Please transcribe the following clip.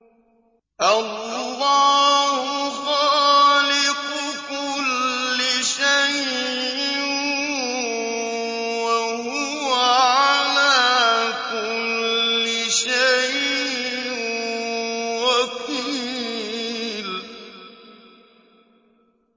اللَّهُ خَالِقُ كُلِّ شَيْءٍ ۖ وَهُوَ عَلَىٰ كُلِّ شَيْءٍ وَكِيلٌ